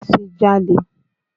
Má ṣe jalè!